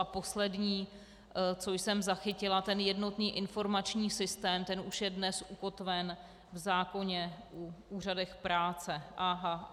A poslední, co jsem zachytila, ten jednotný informační systém, ten už je dnes ukotven v zákoně o úřadech práce.